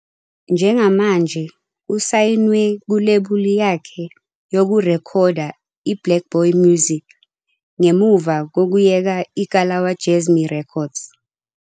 Njengamanje usayinwe kulebuli yakhe yokurekhoda iBlaqBoy Music ngemuva kokuyeka iKalawa Jazmee Records.